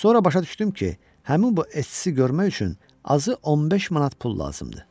Sonra başa düşdüm ki, həmin bu Essini görmək üçün azı 15 manat pul lazımdır.